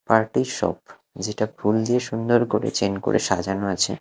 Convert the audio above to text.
Party shop যেটা ফুল দিয়ে সুন্দর করে চেন করে সাজানো আছে।